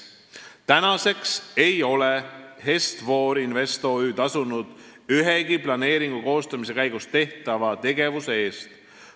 Tänaseks ei ole Est-For Invest OÜ tasunud ühegi planeeringu koostamise käigus tehtava tegevuse eest.